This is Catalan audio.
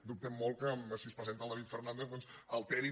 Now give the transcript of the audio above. dubtem molt que si es presenta el david fernàndez doncs alterin